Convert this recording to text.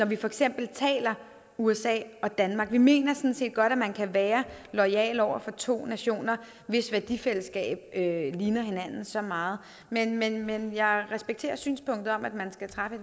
vi for eksempel taler usa og danmark vi mener sådan set godt at man kan være loyal over for to nationer hvis værdifællesskab ligner hinanden så meget men men jeg respekterer synspunktet om at man skal træffe